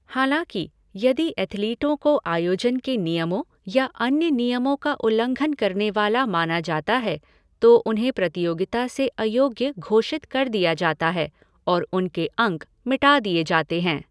हालाँकि, यदि एथलीटों को आयोजन के नियमों या अन्य नियमों का उल्लंघन करने वाला माना जाता है, तो उन्हें प्रतियोगिता से अयोग्य घोषित कर दिया जाता है और उनके अंक मिटा दिए जाते हैं।